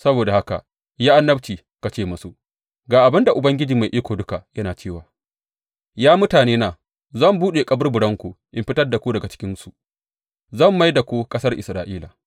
Saboda haka yi annabci ka ce musu, Ga abin da Ubangiji Mai Iko Duka yana cewa ya mutanena, zan buɗe kaburburanku in fitar da ku daga cikinsu; zan mai da ku ƙasar Isra’ila.